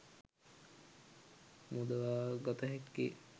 මුදවාගත හැක්කේ